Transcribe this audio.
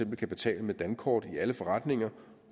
kan betale med dankort i alle forretninger